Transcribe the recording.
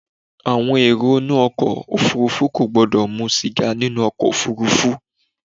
Àwọn èrò inú ọkọ òfúrúfú kò gbọ́dọ̀ mu sìgá nínú ọkọ̀ ofúrúfú.